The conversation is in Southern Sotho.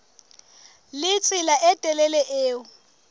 le tsela e telele eo